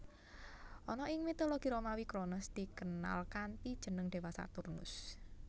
Ana ing mitologi Romawi Kronos dikenal kanthi jeneng dewa Saturnus